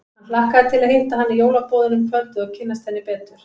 Hann hlakkaði til að hitta hana í jólaboðinu um kvöldið og kynnast henni betur.